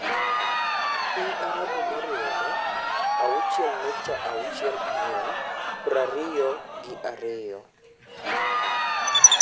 Piny Arabu Moriwre (auchiel nukta auchiel angwen) prariyo gi ariyo.